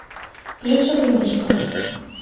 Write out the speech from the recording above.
плюшевый мишка